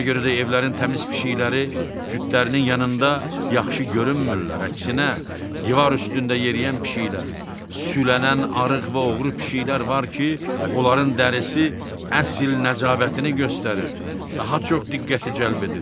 Ona görə də evlərin təmiz pişiykləri cütlərinin yanında yaxşı görünmürlər, əksinə divar üstündə yeriyən pişiyklər, şülənən arıq və oğru pişiklər var ki, onların dərisi əsl nəcabətini göstərir, daha çox diqqəti cəlb edir.